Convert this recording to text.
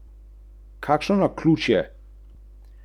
Iz daljave sta potem zaslišala zvoke norega benda.